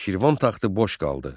Şirvan taxtı boş qaldı.